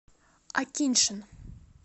акиньшин